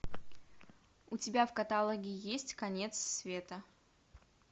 у тебя в каталоге есть конец света